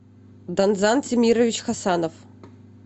данзан темирович хасанов